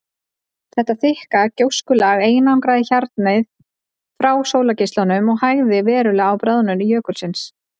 Þetta þykka gjóskulag einangraði hjarnið frá sólargeislunum og hægði verulega á bráðnun jökulsins.